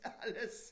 Alles